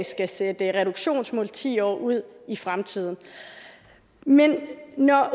skal sætte reduktionsmål ti år ud i fremtiden men når